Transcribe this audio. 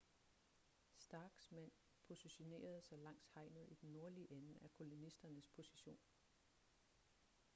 starks mænd positionerede sig langs hegnet i den nordlige ende af kolonisternes position